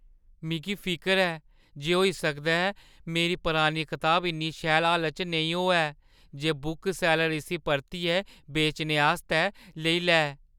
मिगी फिकर ऐ जे होई सकदा ऐ मेरी पुरानी कताब इन्नी शैल हालता च नेईं होऐ जे बुकसैल्लर इस्सी परतियै बेचने आस्तै लेई लै।